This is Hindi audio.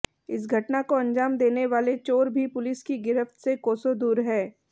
इस घटना को अंजाम देने वाले चोर भी पुलिस की गिरफ्त से कोसों दूर हैं